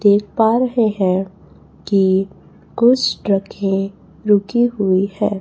देख पा रहे है कि कुछ ट्रके है रुकी हुई है।